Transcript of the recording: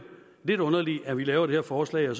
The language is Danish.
lidt underligt at vi laver det her forslag og